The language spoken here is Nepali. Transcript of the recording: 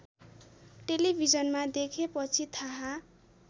टेलिभिजनमा देखेपछि थाहा